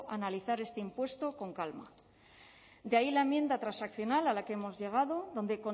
a analizar este impuesto con calma de ahí la enmienda transaccional a la que hemos llegado donde